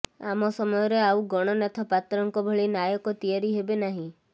ଆମ ସମୟରେ ଆଉ ଗଣନାଥ ପାତ୍ରଙ୍କ ଭଳି ନାୟକ ତିଆରି ହେବେନାହିଁ